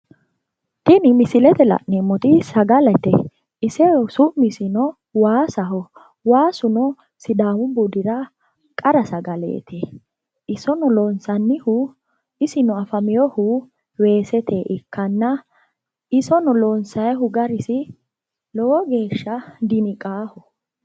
Tini misilete la'neemmoti sagaleti su'misi waasaho, sidaamu budu sagaleti isono loonsannohu weeseteniti iso loonsanni gari lowo geeshsha diniqanoho.